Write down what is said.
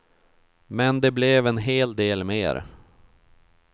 Men det blev en hel del mer.